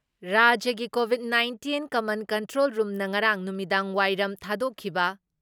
ꯔꯥꯖ꯭ꯌꯒꯤ covid nineteen common control ꯔꯨꯝꯅ ꯉꯔꯥꯡ ꯅꯨꯃꯤꯗꯥꯡꯋꯥꯏꯔꯝ ꯊꯥꯗꯣꯛꯈꯤꯕ